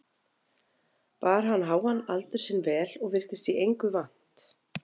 Bar hann háan aldur sinn vel og virtist í engu vant.